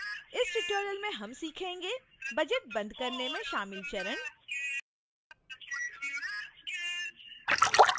इस tutorial में हम सीखेंगे